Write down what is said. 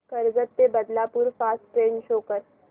कर्जत ते Badlapur fast train show कर